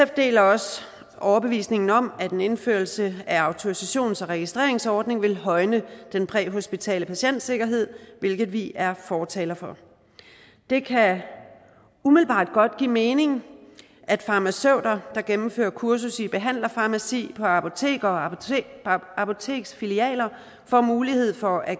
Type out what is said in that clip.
deler også overbevisningen om at en indførelse af en autorisations og registreringsordning vil højne den præhospitale patientsikkerhed hvilket vi er fortalere for det kan umiddelbart godt give mening at farmaceuter der gennemfører kursus i behandlerfarmaci på apoteker og apoteksfilialer får mulighed for at